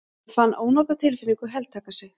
Hann fann ónotatilfinningu heltaka sig.